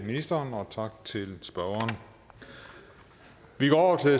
ministeren og tak til spørgeren vi går over til